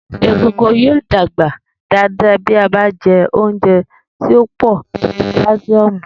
Egungun yóò dàgbà dáadáa bí a bá jẹ oúnjẹ tó pọ̀ ní káṣíọ́mù